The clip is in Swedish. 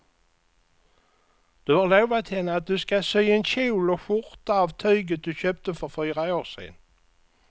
Du har lovat henne att du ska sy en kjol och skjorta av tyget du köpte för fyra år sedan.